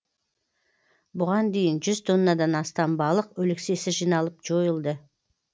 бұған дейін жүз тоннадан астам балық өлексесі жиналып жойылды